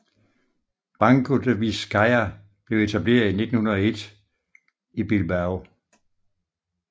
Banco de Vizcaya blev etableret i 1901 i Bilbao